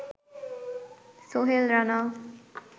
Sohel Rana